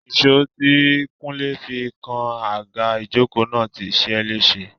Ìṣó tí kúnlé fi ń kan àga ìjókòó náà ti ṣe é léṣe